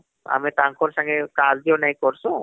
ଆମେ ତାଙ୍କର ସାଙ୍ଗେ କାର୍ଯ୍ୟ ନାଇଁ କରସୁ